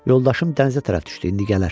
Yoldaşım dənizə tərəf düşdü, indi gələr.